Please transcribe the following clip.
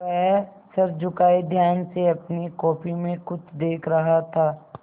वह सर झुकाये ध्यान से अपनी कॉपी में कुछ देख रहा था